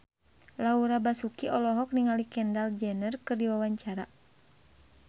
Laura Basuki olohok ningali Kendall Jenner keur diwawancara